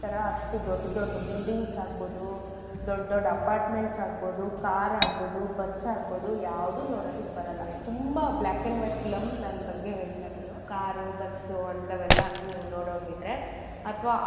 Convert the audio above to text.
ಅಷ್ಟು ದೊಡ್ ದೊಡ್ buildings ಆಗ್ಬೋದು ದೊಡ್ ದೊಡ್ apartments ಆಗ್ಬೋದು car ಆಗ್ಬೋದು bus ಆಗ್ಬೋದು ಯಾವ್ದು ನೋಡದಕ್ ಬರಲ್ಲ ತುಂಬಾ black and white film ನಾನ್ ಬಗ್ಗೆ ಹೇಳ್ತಾಯಿರದು car ಉ bus ಉ ಅಂಥವೆಲ್ಲ ನೀವ್ ನೋಡೊಂಗಿದ್ರೆ ಅಥವಾ.